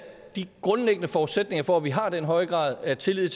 de grundlæggende forudsætninger for at vi har den høje grad af tillid